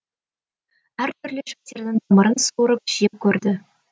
әр түрлі шөптердің тамырын суырып жеп көрді